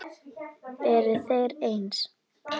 Eru þeir eins?